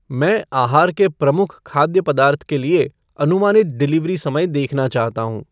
मैं आहार के प्रमुख खाद्य पदार्थ के लिए अनुमानित डिलीवरी समय देखना चाहता हूँ ।